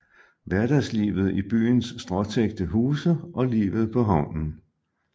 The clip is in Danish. Hverdagslivet i byens stråtækte huse og livet på havnen